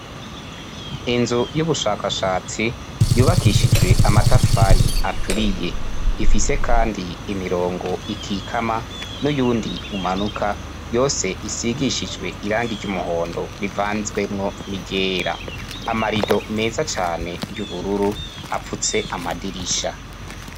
Inzu y'ubushakashatsi yubakishijwe amatafari aturiye. Ifise kandi imirongo ikikama n'uyundi umanuka; yose isigishijwe irangi ry'umuhondo rivanzwemwo niryera; Amarido meza cane y'ubururu apfutse amadirisha,